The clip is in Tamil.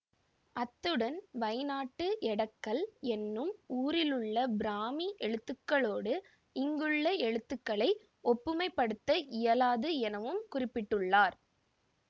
அத்துடன் வைநாட்டு எடக்கல் என்னும் ஊரிலுள்ள பிராமி எழுத்துக்களோடு இங்குள்ள எழுத்துக்களை ஒப்புமைப்படுத்த இயலாது எனவும் குறிப்பிட்டுள்ளார்